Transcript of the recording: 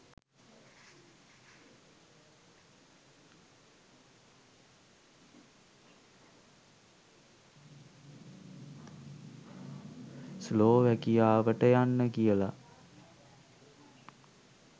ස්ලෝවැකියාවට යන්න කියලා